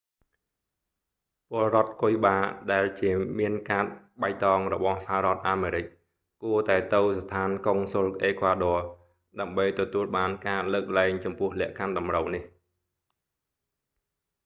ពលរដ្ឋគុយបាដែលជាមានកាតបៃតងរបស់សហរដ្ឋអាមេរិក គួរតែទៅស្ថានកុងស៊ុលអេក្វាឌ័រ ដើម្បីទទួលបានការលើកលែងចំពោះលក្ខខណ្ឌតម្រូវនេះ